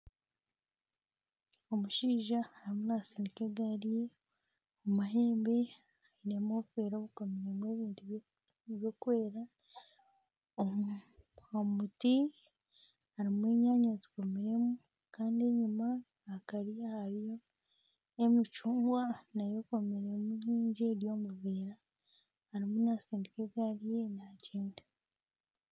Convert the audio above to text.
Omushaija arimu natsindika egaari ye omu mahembe ainemu obuveera bukomiremu ebintu birikwera, omu muti harimu enyanya zikomiremu kandi enyuma aha kariya hariyo emicungwa nayo ekomiremu nyingi eri omu buveera arimu natsindika egaari ye nagyenda.